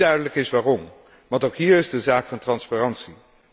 Niet duidelijk is waarom, want ook hier is het een zaak van transparantie.